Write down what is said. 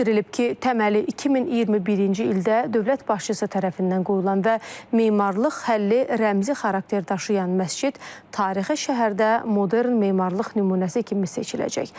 Bildirilib ki, təməli 2021-ci ildə dövlət başçısı tərəfindən qoyulan və memarlıq həlli rəmzi xarakter daşıyan məscid tarixi şəhərdə modern memarlıq nümunəsi kimi seçiləcək.